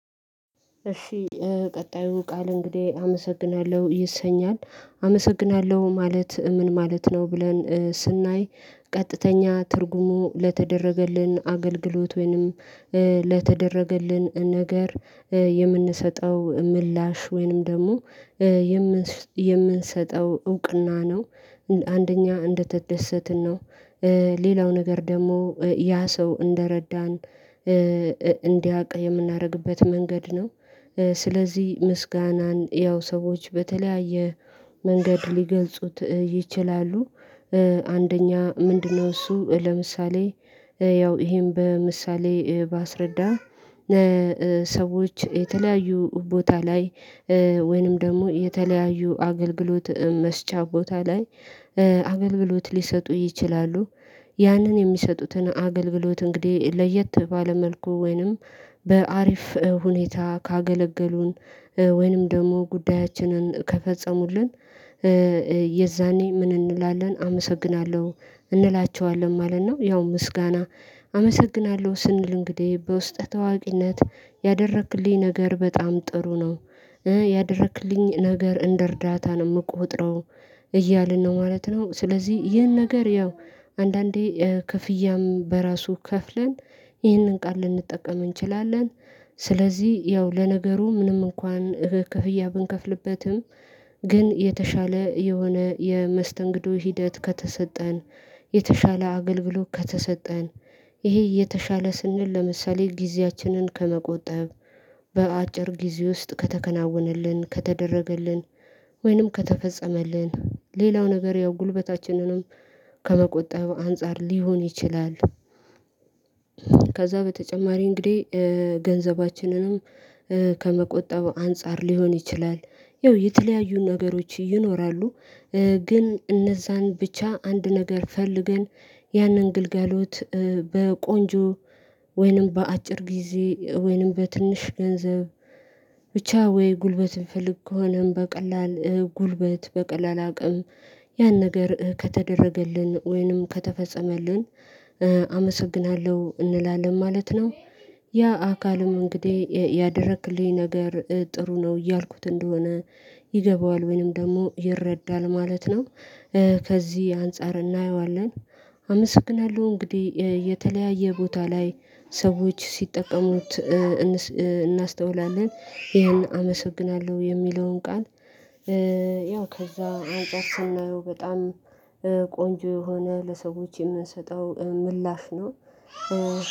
እሺ ቀጣዩ ቃል እንግዲህ አመሰግናለሁ ይሰኛል አመሰግናለሁ ማለት ምን ማለት ነው ብለን ስናይ? ቀጥተኛ ትርጉሙ ለተደረገልን አገልግሎት ወይንም ለተደረገልን ነገር የምንሰጠው ምላሽ ወይንም ደግሞ የምንሰጠው እውቅና ነው። አንደኛ እንደተደሰትን ነው ሌላው ነገር ደግሞ ያ ሰው እንደረዳን እንዲያውቅ የምናደርግበት መንገድ ነው። ስለዚህ ምስጋናን ያው ሰዎች በተለያየ መንገድ ሊገልጹት ይችላሉ። አንደኛ ምንድነው እሱ ለምሳሌ ያው ይሄን በምሳሌ ባስረዳ ሰዎች የተለያዩ ቦታ ላይ ወይንም ደግሞ የተለያዩ አገልግሎት መስጫ ቦታ ላይ አገልግሎት ሊሰጡ ይችላሉ። ያንን የሚሰጡትን አገልግሎት እንግዲህ ለየት ባለ መልኩ ወይንም በአሪፍ ሁኔታ ካገለገሉን ወይንም ደግሞ ጉዳያችንን ከፈጸሙልን የዛኔ ምን እንውላለን አመሰግናለሁ እንላቸዋለን ማለት ነው። ያው ምስጋና አመሰግናለሁ ስንል እንግዲህ በውስጠ ተዋቂነት ያደረክልኝ ነገር በጣም ጥሩ ነው። ያደረክልኝ ነገር እንደርዳታ ነው የምቆጥረው እያልን ነው ማለት ነው። ስለዚህ ይህን ነገር ያው አንዳንዴ ክፍያም በራሱ ከፍለን ይህንን ቃል ልንጠቀም እንችላለን። ስለዚህ ያው ለነገሩ ምንም እንኳን ክፍያ ብንከፍልበትም ግን የተሻለ የሆነ የመስተንግዶ ሂደት ከተሰጠን የተሻለ አገልግሎት ከተሰጠን ይሄ እየተሻለ ስንል ለምሳሌ ጊዜያችንን ከመቆጠብ በአጭር ጊዜ ውስጥ ከተከናወነልን ከተደረገልን ወይንም ከተፈጸመልን ሌላው ነገር ያው ጉልበታችንንም ከመቆጠብ አንፃር ሊሆን ይችላል። ከዛ በተጨማሪ እንግዲህ ገንዘባችንንም ከመቆጠብ አንፃር ሊሆን ይችላል ያው የተለያዩ ነገሮች ይኖራሉ። ግን እነዛን ብቻ አንድ ነገር ፈልገን ያንን ግልጋሎት በቆንጆ ወይንም በአጭር ጊዜ ወይንም በትንሽ ገንዘብ ብቻ ወይ ጉልበት እንፈልግ ከሆነም በቀላል ጉልበት በቀላል አቅም ያን ነገር ከተደረገልን ወይንም ከተፈጸመልን አመሰግናለሁ እንላለን ማለት ነው። ያ አካልም እንግዲህ ያደረክልኝ ነገር ጥሩ ነው እያልኩት እንደሆነ ይገባዋል ወይንም ደግሞ ይረዳል ማለት ነው። ከዚህ አንፃር እናየዋለን አመሰግናለሁ እንግዲህ የተለያየ ቦታ ላይ ሰዎች ሲጠቀሙት እናስተውላለን ይሄን አመሰግናለሁ የሚለውን ቃል ከዛ አንፃር ስናየው በጣም ቆንጆ የሆነ ለሰዎች የምንሰጠው ምላሽ ነው።